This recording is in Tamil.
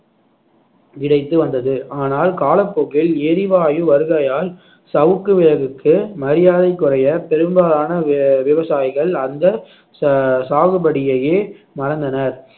கிடைத்து வந்தது ஆனால் காலப்போக்கில் எரிவாயு வருகையால் விறகுக்கு வேகுக்கு மரியாதை குறைய பெரும்பாலான வி~ விவசாயிகள் அந்த ச~ சாகுபடியையே மறந்தனர்